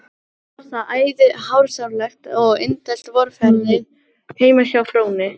Var þar æði hráslagalegt eftir indælt vorveðrið heima á Fróni